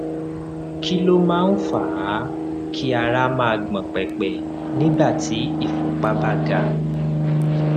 kí ló máa ń fà á kí ara máa gbọn pẹpẹ nígbà tí ìfúnpá bá ga